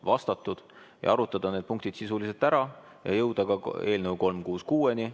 – vastatud, arutada need punktid sisuliselt ära ja jõuda ka eelnõuni 366.